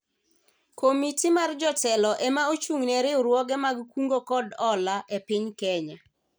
Komiti mar jotelo ema ochung'ne riwruoge mag kungo kod hola e piny Kenya